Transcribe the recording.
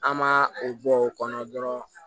An ma o bɔ o kɔnɔ dɔrɔn